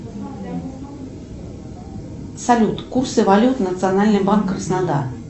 салют курсы валют национальный банк краснодар